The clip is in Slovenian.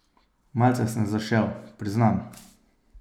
Malce sem zašel, priznam.